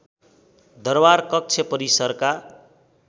दरबार कक्ष परिसरका